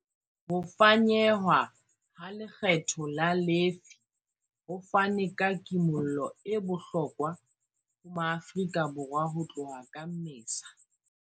Ho fanyehwa ha lekgetho la lefii ho fane ka kimollo e bohlokwa ho Maafrika Borwa ho tloha ka Mmesa.